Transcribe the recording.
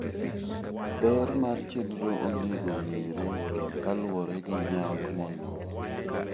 Ber mar chenro onengo ong'ere kaluwore gi nyak moyudo.